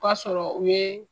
O ka sɔrɔ u ye.